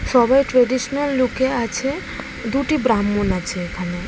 সবাই ট্রেডিশনাল লুকে আছে দুটি ব্রাহ্মণ আছে এখানে ।